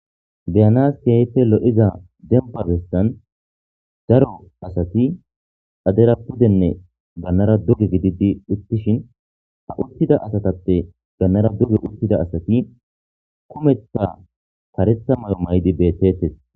Beyanas keeyfe lo'iza demba bestan daro asati adera pudenne gannara duge gididi uttishin ha uttida asatappe gannara duge uttida asati kumeththa karetha mayo maydi beettetes.